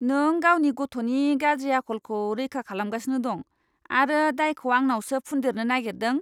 नों गावनि गथ'नि गाज्रि आखलखौ रैखा खालामगासिनो दं आरो दायखौ आंनावसो फुन्देरनो नागेरदों!